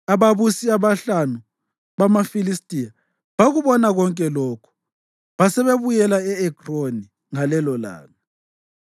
Ababusi abahlanu bamaFilistiya bakubona konke lokhu basebebuyela e-Ekroni ngalelolanga.